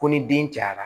Ko ni den cayara